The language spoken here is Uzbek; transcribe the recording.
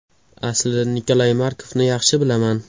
Aslida Nikolay Markovni yaxshi bilaman.